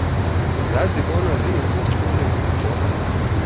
zazibonwa zinobuchule bokujongana